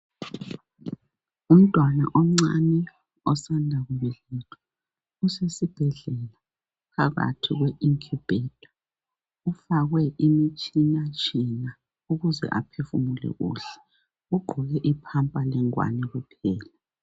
Umntwana omncani osanda kubelethwa usesibhedlela phakathi kwe incubator ufakwe imitshina tshina ukuze aphefumule kuhle . Ugqoke ipamper legwani kuphela .